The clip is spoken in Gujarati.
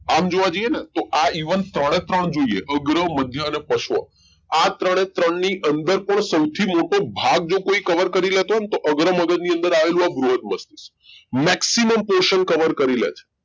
આમ જોવા જઈએ ન તો આ even ત્રણે ત્રણ જોઈએ અગ્ર મધ્ય અને પશ્વ આ ત્રણે ત્રણની અંદર પણ સૌથી મોટો ભાગ જો કોઈ cover કરી લેતો હોય તો અગ્ર મગજ ની અંદર આવેલું આ બૃહદ મસ્તિષ્ક maximum પોષણ cover કરી લે છે